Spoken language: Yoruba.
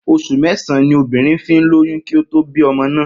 Os̩ù mé̩sàn-án ni obìnrin fi ń lóyún kí ó tó bí o̩mo náà